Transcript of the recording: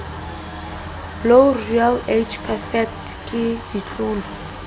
loreal age perfect ke ditlolo